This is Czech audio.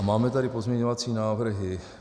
A máme tady pozměňovací návrhy: